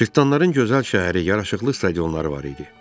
Cırtdanların gözəl şəhəri, yaraşıqlı stadionları var idi.